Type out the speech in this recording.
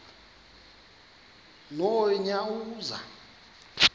nonyawoza